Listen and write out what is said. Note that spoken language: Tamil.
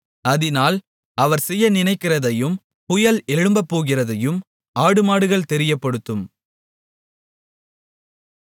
அதினால் அவர் செய்ய நினைக்கிறதையும் புயல் எழும்பப்போகிறதையும் ஆடுமாடுகள் தெரியப்படுத்தும்